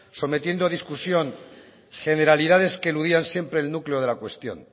sometiendo a discusión generalidades que eludían siempre el núcleo de la cuestión